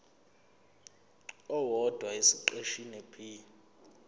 owodwa esiqeshini b